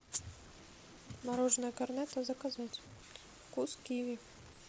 мороженое корнетто заказать вкус киви